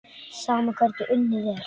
Sama hvernig unnið er.